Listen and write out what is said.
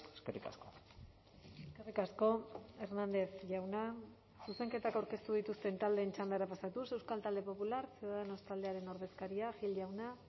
eskerrik asko eskerrik asko hernández jauna zuzenketak aurkeztu dituzten taldeen txandara pasatuz euskal talde popular ciudadanos taldearen ordezkaria gil jauna